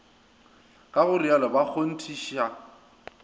ka go rialo ba kgonthiša